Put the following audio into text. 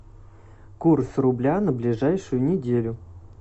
курс рубля на ближайшую неделю